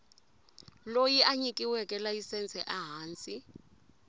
loyi a nyikiweke layisense ehansi